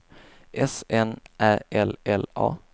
S N Ä L L A